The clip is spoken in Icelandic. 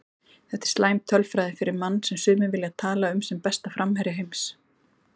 Þetta er slæm tölfræði fyrir mann sem sumir vilja tala um sem besta framherja heims.